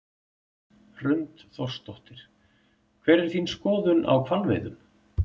Hrund Þórsdóttir: Hver er þín skoðun á hvalveiðum?